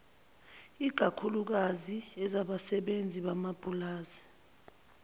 ikakhuklukazi ezabasebenzi bamapulazi